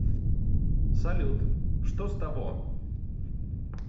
салют что с того